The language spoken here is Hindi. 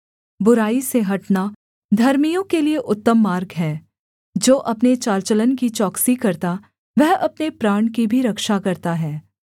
बुराई से हटना धर्मियों के लिये उत्तम मार्ग है जो अपने चाल चलन की चौकसी करता वह अपने प्राण की भी रक्षा करता है